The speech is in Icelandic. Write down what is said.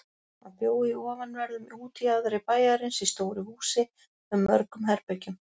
Hann bjó í ofanverðum útjaðri bæjarins í stóru húsi með mörgum herbergjum.